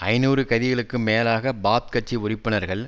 ஐநூறு கதிகளுக்கும் மேலாக பாத் கட்சி உறுப்பினர்கள்